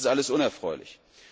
Das ist alles unerfreulich.